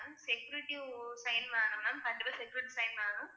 security sign வேணும் ma'am கண்டிப்பா security sign வேணும்